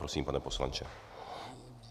Prosím, pane poslanče.